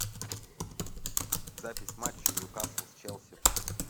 запись матча ньюкасл с челси